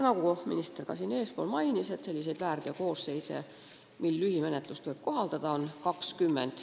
Nagu minister mainis, selliseid väärteokoosseise, mille korral lühimenetlust tuleb kohaldada, on 20.